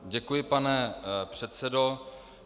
Děkuji, pane předsedo.